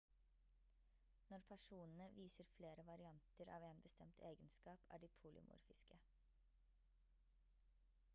når personene viser flere varianter av en bestemt egenskap er de polymorfiske